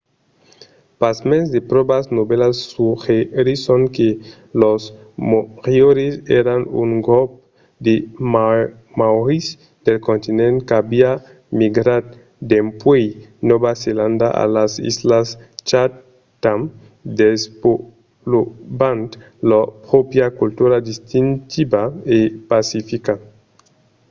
pasmens de pròvas novèlas suggerisson que los moriòris èran un grop de maòris del continent qu'aviá migrat dempuèi nòva zelanda a las islas chatham desvolopant lor pròpria cultura distintiva e pacifica